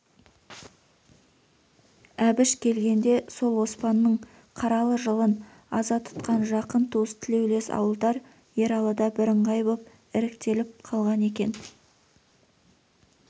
әбіш келгенде сол оспанның қаралы жылын аза тұтқан жақын туыс тілеулес ауылдар ералыда бірыңғай боп іріктеліп қалған екен